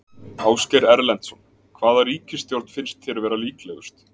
Ásgeir Erlendsson: Hvaða ríkisstjórn finnst þér vera líklegust?